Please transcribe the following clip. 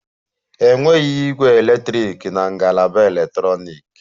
Enweghị ígwè eletrik na ngalaba eletrọniki